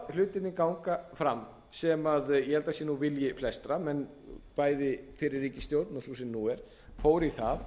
hlutirnir ganga fram sem ég held að sé vilji flestra bæði fyrri ríkisstjórn og sú sem nú er fóru í það